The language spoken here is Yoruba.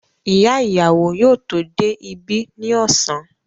Ìyá ìyàwó yóò tó dé ibí ní ọ̀sán.